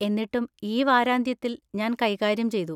എന്നിട്ടും, ഈ വാരാന്ത്യത്തിൽ ഞാൻ കൈകാര്യം ചെയ്തു.